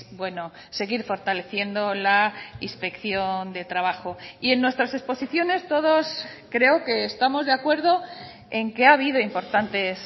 bueno seguir fortaleciendo la inspección de trabajo y en nuestras exposiciones todos creo que estamos de acuerdo en que ha habido importantes